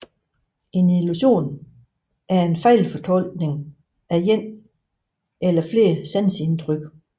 En illusion er en fejlfortolkning af et eller flere sanseindtryk